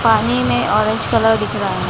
पानी में orange colour दिख रहा है।